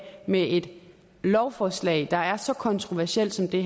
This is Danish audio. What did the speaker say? med et lovforslag der er så kontroversielt som det